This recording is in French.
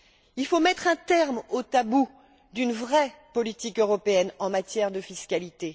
Il faut mettre un terme aux tabous d'une vraie politique européenne en matière de fiscalité.